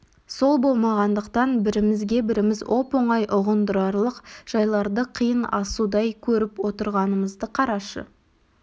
сол болмағандықтан бірімізге біріміз оп-оңай ұғындырарлық жайларды қиын асудай көріп отырғанымызды қарашы